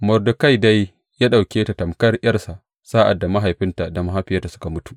Mordekai dai ya ɗauke ta tamƙar ’yarsa sa’ad da mahaifinta da mahaifiyarta suka mutu.